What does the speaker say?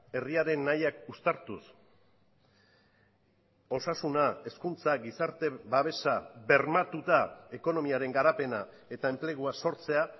herriaren nahiak uztartuz osasuna hezkuntza gizarte babesa bermatuta ekonomiaren garapena eta enplegua sortzea